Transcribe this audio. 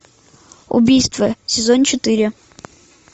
убийство сезон четыре